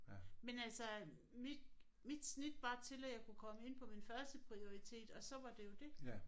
Men altså øh mit mit snit var til at jeg kunne komme ind på min førsteprioritet og så var det jo det